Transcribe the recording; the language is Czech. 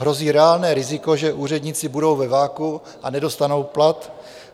Hrozí reálné riziko, že úředníci budou ve vakuu a nedostanou plat.